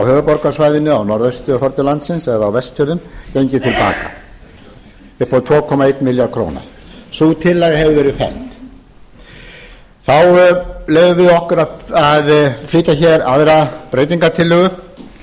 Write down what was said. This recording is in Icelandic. vestfjörðum gengi til baka upp á tvö komma einn milljarð króna sú tillaga hefur verið felld þá leyfðum við okkur að flytja hér aðra breytingartillögu við þetta